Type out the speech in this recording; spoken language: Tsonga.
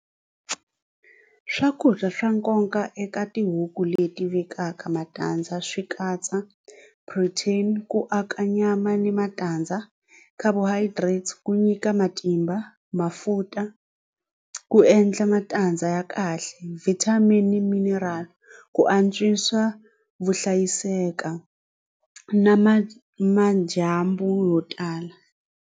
Swakudya swa nkoka eka tihuku leti vekaka matandza swi katsa protein ku aka nyama ni matandza carbohydrates ku nyika matimba mafuta ku endla matandza ya kahle vitamin ni mineral ku antswisa vuhlayiseki bya na ma madyambu yo tala.